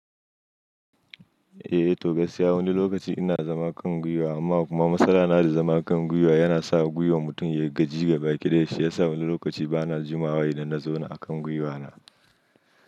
Eh to gaskiya wani lokaci ina zama kan gwiwa amma kuma matsala na da zama kan gwiwa yana sa gwiwar mutum ya gaji ga baki ɗayan shi yasa wani lokaci bana jimawa in na zauna akan gwiwa na.